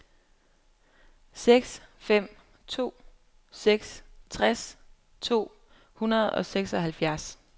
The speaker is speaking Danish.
seks fem to seks tres to hundrede og seksoghalvfjerds